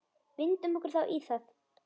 Vindum okkur þá í það.